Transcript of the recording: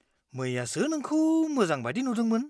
-मैयासो नोंखौ मोजां बायदि नुदोंमोन।